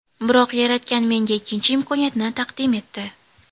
Biroq Yaratgan menga ikkinchi imkoniyatni taqdim etdi.